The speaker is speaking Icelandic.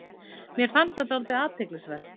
Mér fannst það dálítið athyglisvert